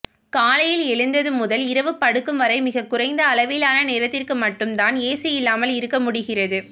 காலையில் எழுந்தது முதல் இரவு படுக்கும் வரை மிக குறைந்த அளவிலான நேரத்திற்கு மட்டும் தான் ஏசியில்லாமல் இருக்க முடிகிறது